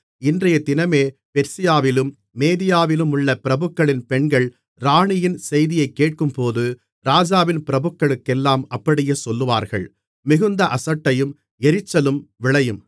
இன்றையதினமே பெர்சியாவிலும் மேதியாவிலுமுள்ள பிரபுக்களின் பெண்கள் ராணியின் செய்தியைக் கேட்கும்போது ராஜாவின் பிரபுக்களுக்கெல்லாம் அப்படியே சொல்லுவார்கள் மிகுந்த அசட்டையும் எரிச்சலும் விளையும்